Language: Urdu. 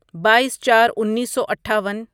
بائیس چار انیسو اٹھاون